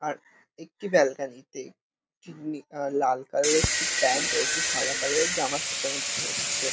আর একটি ব্যালকনি -তে চিমনি লাল কালার -এর একটি প্যান্ট আর একটি সাদা কালার -এর জামা শুকাতে দেখা যাচ্ছে ।